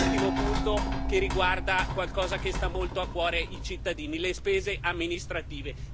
L'ultimo punto riguarda qualcosa che sta molto a cuore ai cittadini le spese amministrative.